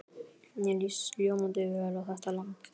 Mér líst ljómandi vel á þetta land.